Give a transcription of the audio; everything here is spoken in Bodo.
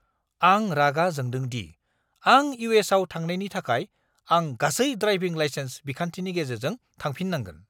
आं रागा जोंदों दि आं इउ. एस. आव थांनायनि थाखाय आं गासै ड्राइभिं लाइसेन्स बिखान्थिनि गेजेरजों थांफिननांगोन।